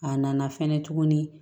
A nana fɛnɛ tuguni